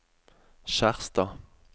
Skjerstad